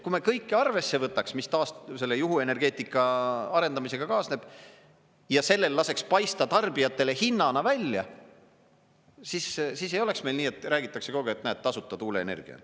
Kui me kõiki arvesse võtaks, mis selle juhuenergeetika arendamisega kaasneb, ja sellel laseks paista tarbijatele hinnana välja, siis ei oleks meil nii, et räägitakse kogu aeg, et näed, tasuta tuuleenergia.